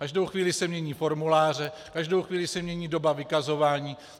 Každou chvíli se mění formuláře, každou chvíli se mění doba vykazování.